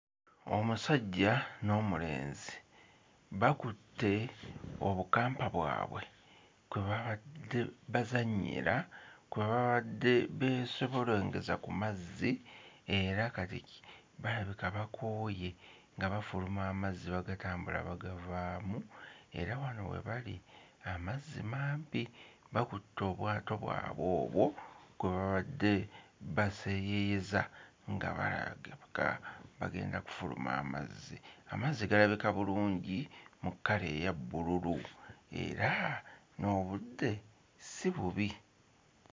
Omusajja n'omulenzi bakutte obukampa bwabwe kwe babadde bazannyira, kwe babadde beesobolengeza ku mazzi era kabe kiti balabika bakooye nga bafuuma amazzi bagatambula bagavaamu, era wano we bali amazzi mangi bakutte obwato bwabwe obwo kwe babadde baseeyeeyeza nga balabika bagenda kufuluma amazzi, amazzi galabika bulungi mu kkala eya bbululu era n'obudde si bubi.